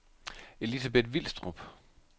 Elizabeth Vilstrup